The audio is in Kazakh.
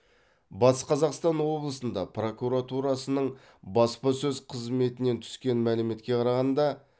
батыс қазақстан облысында прокуратурасының баспасөз қызметінен түскен мәліметке қарағанда